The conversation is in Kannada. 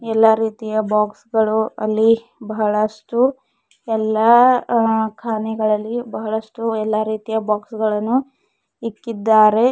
ಎಲ್ಲಾ ರೀತಿಯ ಬಾಕ್ಸ್ ಗಳು ಅಲ್ಲಿ ಬಹಳಷ್ಟು ಎಲ್ಲಾ ಆ ಕಾನೆಗಳಲ್ಲಿ ಬಹಳಷ್ಟು ಎಲ್ಲಾ ರೀತಿಯ ಬಾಕ್ಸ್ ಗಳನ್ನು ಇಕ್ಕಿದ್ದಾರೆ.